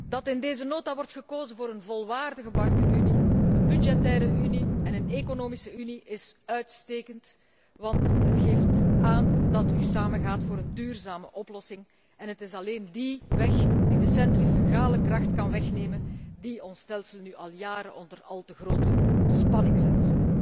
Dat in deze nota wordt gekozen voor een volwaardige bankenunie, een budgettaire unie en een economische unie is uitstekend, want het geeft aan dat u samen gaat voor een duurzame oplossing en het is alleen die weg die de centrifugale kracht kan wegnemen die ons stelsel nu al jaren onder al te grote spanning zet.